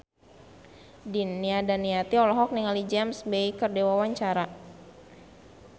Nia Daniati olohok ningali James Bay keur diwawancara